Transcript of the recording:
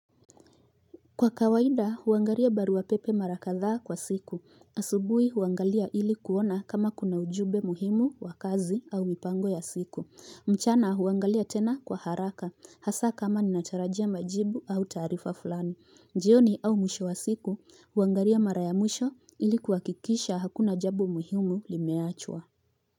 Kwa kawaida huangalia barua pepe mara kadhaa kwa siku asubui huangalia ili kuona kama kuna ujumbe muhimu wa kazi au mipango ya siku mchana huangalia tena kwa haraka hasa kama ni ninatarajia majibu au tarifa fulani jioni au mwisho wa siku huangalia mara ya mwisho ili kuhakikisha hakuna jambo muhimu limeachwa.